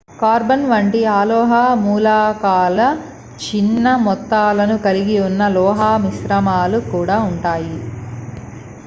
carbon వంటి అలోహ మూలకాల చిన్న మొత్తాలను కలిగి ఉన్న లోహమిశ్రమాలు కూడా ఉంటాయి